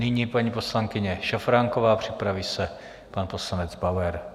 Nyní paní poslankyně Šafránková, připraví se pan poslanec Bauer.